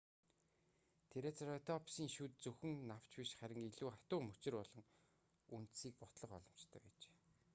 трицератопсын шүд зөвхөн навч биш харин илүү хатуу мөчир болон үндсийг бутлах боломжтой байжээ